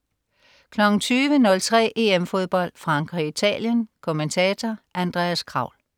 20.03 EM Fodbold. Frankrig-Italien. Kommentator: Andreas Kraul